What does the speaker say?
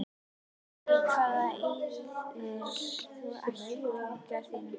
Í hvað eyðir þú æfingartímanum þínum?